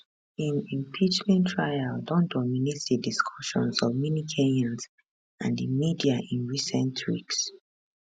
im impeachment trial don dominate di discussions of many kenyans and di media in recent weeks